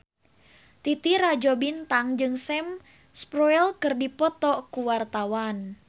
Titi Rajo Bintang jeung Sam Spruell keur dipoto ku wartawan